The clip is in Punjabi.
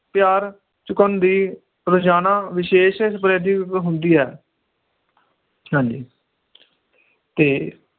ਪਿਆਰ ਚੁਕਾਉਂਦੀ ਰੋਜਾਨਾ ਵਿਸ਼ੇਸ਼ ਹੁੰਦੀ ਹੈ ਹਾਂਜੀ ਤੇ